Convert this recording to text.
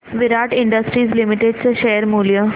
विराट Industries Limited चे share मूल्य